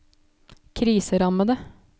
kriserammede